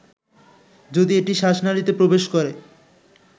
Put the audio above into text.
যদি এটি শ্বাসনালীতে প্রবেশ করে